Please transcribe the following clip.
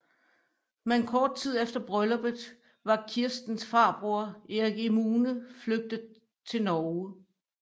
Men kort tid efter brylluppet var Kirstens farbror Erik Emune flygtet til Norge